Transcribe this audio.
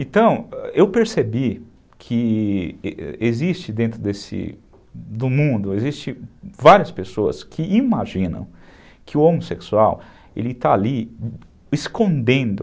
Então, eu percebi que existe dentro desse, do mundo, existem várias pessoas que imaginam que o homossexual, ele está ali escondendo